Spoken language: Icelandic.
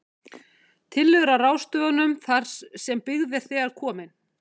Tillögur að ráðstöfunum þar sem byggð er þegar komin: